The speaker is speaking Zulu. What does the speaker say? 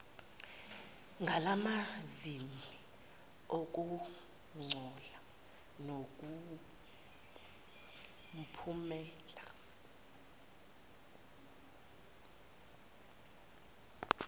ngalamazni anokungcola kunomphumela